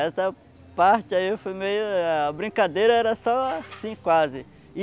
Essa parte aí foi meio... A brincadeira era só assim quase.